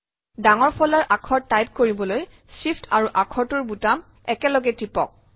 ডাঙৰ ফলাৰ আখৰ টাইপ কৰিবলৈ Shift আৰু আখৰটোৰ বুটাম একেলগে টিপক